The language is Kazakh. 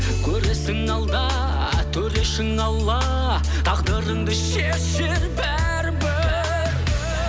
көресің алда төрешің алла тағдырыңды шешер бәрібір